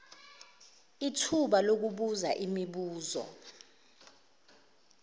ithuba lokubuza imibuzo